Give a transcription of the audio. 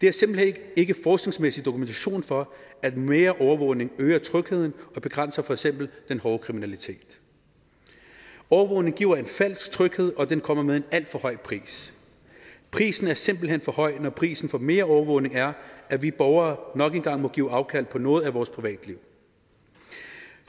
er simpelt hen ikke forskningsmæssig dokumentation for at mere overvågning øger trygheden og begrænser for eksempel den hårde kriminalitet overvågning giver en falsk tryghed og den kommer med en alt for høj pris prisen er simpelt hen for høj når prisen for mere overvågning er at vi borgere nok en gang må give afkald på noget af vores privatliv